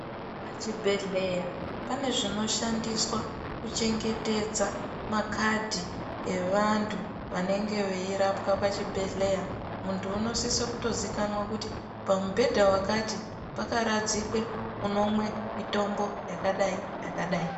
Pachibhehlera pane zvinoshandiswa kuchengetedza makadhi avantu vanenge veirapwa pachibhehlera muntu unosiso kutizikanwa kuti pamubhedha wakati pakaradzikwe unomwe mitombo yakadai yakadai .